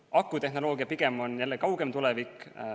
Akutehnoloogia on jällegi pigem kaugem tulevik.